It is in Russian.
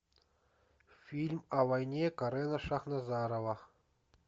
фильм о войне карена шахназарова